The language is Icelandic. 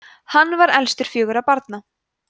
hann var elstur fjögurra barna